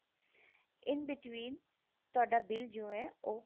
in between ਤੁਹਾਡਾ bill ਜੋ ਹੈ ਉਹ